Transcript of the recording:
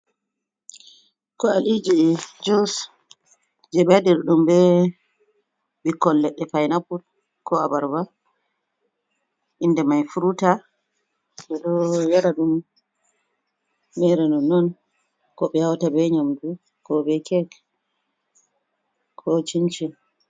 Kwaliji jus je ɓe waɗirɗum be ɓikkol leɗɗe pineapple ko abarba, inda mai fruta ɓeɗoo yara ɗum mere nonnon ko ɓe hauta be nyamdu ko be kek ko cinchin.